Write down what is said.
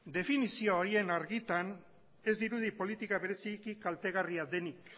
definizio horien argitan ez dirudi politika bereziki kaltegarria denik